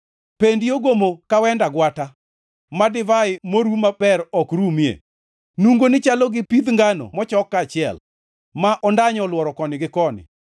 Pendi ogomo ka wend agwata, ma divai moru maber ok rumie. Nungoni chalo pidh ngano mochok kaachiel, ma ondanyo olworo koni gi koni.